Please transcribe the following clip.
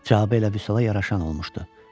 Cavabı elə Vüsala yaraşan olmuşdu.